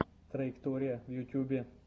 траектория в ютьюбе